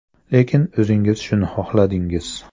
Lekin o‘zingiz shuni xohladingiz.